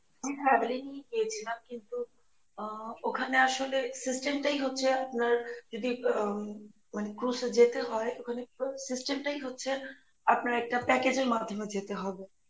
family নিয়েই গিয়েছিলাম কিন্তু আহ ওখানে আসলে system টাই হচ্ছে আপনার যদি আম মানে cruise এ যেতে হয় ওখানে system টাই হচ্ছে আপনার একটা package এর মাধ্যমে যেতে হবে